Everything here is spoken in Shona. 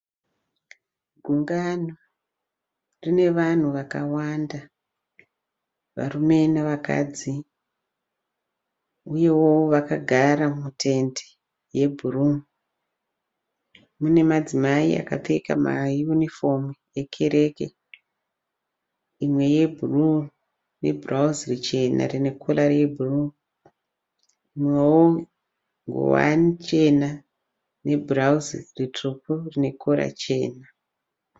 Gungano rine vanhu vakawanda varume nevakadzi uyewo vakagara mutende rebhuruu. Mune madzimai akapfeka mayunifomu ekereke imwe yebhuruu nebhurauzi richena rine kora rebhuru mumwewo ngowani chena nebhurauzi ritsvuku nekora chena.